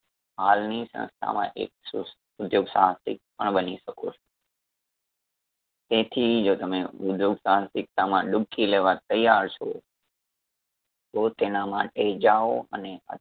હાલની સંસ્થામાં એક સ ઉધ્યોગ સાહસિક પણ બની શકો છો . તેથી જો તમે ઉધ્યોગ સાહસિકતામાં ડૂબકી લેવા તૈયાર છો તો તેના માટે જાઓ અને